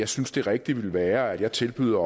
synes det rigtige vil være at jeg tilbyder